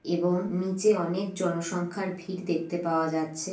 এবং নিচে অনেক জনসংখ্যার ভিড় দেখতে পাওয়া যাচ্ছে।